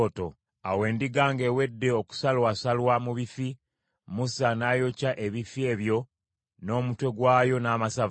Awo endiga ng’ewedde okusalwasalwa mu bifi, Musa n’ayokya ebifi ebyo n’omutwe gwayo n’amasavu.